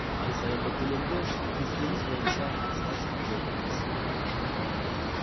ай сайынғы төлемді кестеңіз бойынша салыстырып отырыңыз